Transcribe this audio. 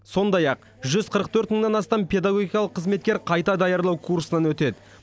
сондай ақ жүз қырық төрт мыңнан астам педагогикалық қызметкер қайта даярлау курсынан өтеді